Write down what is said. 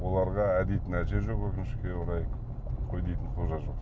оларға ә дейтін әже жоқ өкінішке орай қой дейтін қожа жоқ